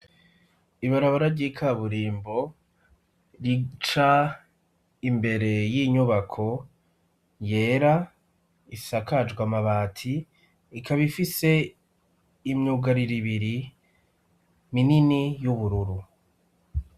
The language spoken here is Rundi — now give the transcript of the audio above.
Ibarabara ry' ikaburimbo rica imbere y'inyubako yera isakajwe amabati ikaba ifise imyugariro ibiri minini y'ubururu.